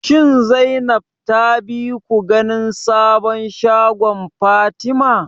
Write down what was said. Shin Zainab ta bi ku ganin sabon shagon Fatima?